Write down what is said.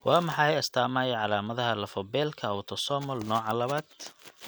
Waa maxay astaamaha iyo calaamadaha lafo-beelka autosomal nooca lawad?